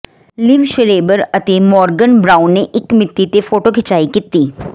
ਲਿਵ Schreiber ਅਤੇ Morgan Brown ਨੇ ਇੱਕ ਮਿਤੀ ਤੇ ਫੋਟੋ ਖਿਚਾਈ ਕੀਤੀ